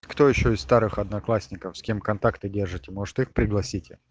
кто ещё из старых одноклассников с кем контакты держите может их пригласите